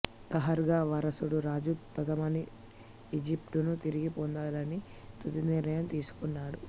తహర్గా వారసుడు రాజు తంతమాణి ఈజిప్టును తిరిగి పొందలని తుది నిర్ణయం తీసుకున్నాడు